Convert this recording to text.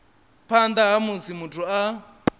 phanḓa ha musi muthu a